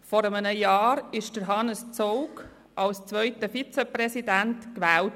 Vor einem Jahr wurde Hannes Zaugg zum zweiten Vizepräsidenten gewählt.